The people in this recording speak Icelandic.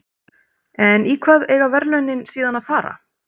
En í hvað eiga verðlaunin síðan að fara?